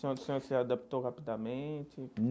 O senhor se adaptou rapidamente?